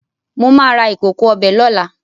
Mo máa ra ìkòkò ọbẹ̀ lóla